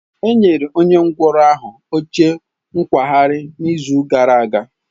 E nyere onye ngwọrọ ahụ oche nkwagharị n'izu gara aga.